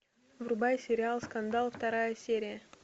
врубай сериал скандал вторая серия